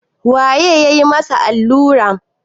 waye ya yi masa allura